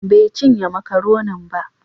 Bai cinye makaronin ba.